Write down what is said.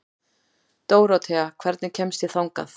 Dórothea, hvernig kemst ég þangað?